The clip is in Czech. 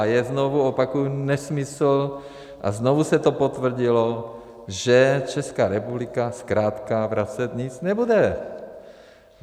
A je, znovu opakuji, nesmysl, a znovu se to potvrdilo, že Česká republika zkrátka vracet nic nebude.